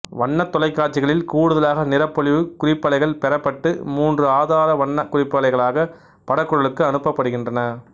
வண்ணத் தொலைக்காட்சிகளில் கூடுதலாக நிறப்பொலிவு குறிப்பலைகள் பெறப்பட்டு மூன்று ஆதார வண்ண குறிப்பலைகளாக படக்குழலுக்கு அனுப்பப்படுகின்றன